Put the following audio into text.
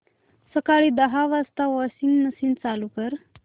सकाळी दहा वाजता वॉशिंग मशीन चालू कर